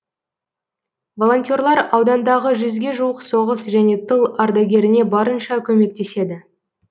волонтерлар аудандағы жүзге жуық соғыс және тыл ардагеріне барынша көмектеседі